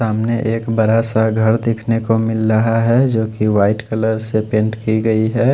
सामने एक बड़ा सा घर देखने को मिल रहा है जो कि व्हाईट कलर से पेंट की गई है।